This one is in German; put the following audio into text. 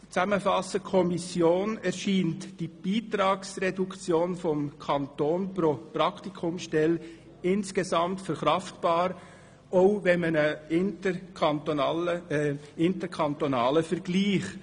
Der Kommission erscheint die Beitragsreduktion des Kantons pro Praktikumsstelle insgesamt und auch bei einem interkantonalen Vergleich verkraftbar.